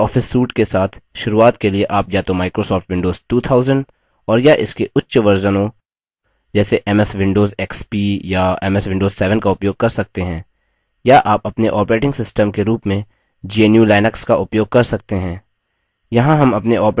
Libre office suite के साथ शुरूआत के लिए आप या तो microsoft windows 2000 और या इसके उच्चवर्जनों संस्करणों जैसे ms windows xp या ms windows 7 का उपयोग कर सकते हैं या आप अपने operating system के रूप में gnu/linux का उपयोग कर सकते हैं